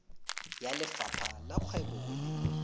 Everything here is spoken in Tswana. ya lefapha la kgwebo le